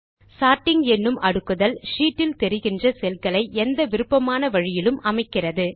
sorting என்னும் அடுக்குதல் sheet இல் தெரிகின்ற செல்களை எந்த விருப்பமான வழியிலும் அமைக்கிறது